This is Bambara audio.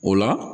O la